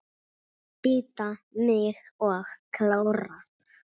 Bíta mig og klóra.